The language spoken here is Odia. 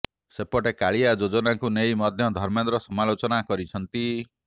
ସେପଟେ କାଳିଆ ଯୋଜନାକୁ ନେଇ ମଧ୍ୟ ଧର୍ମେନ୍ଦ୍ର ସମାଲୋଚନା କରିଛନ୍ତି